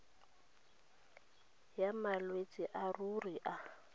ya malwetse a leruo a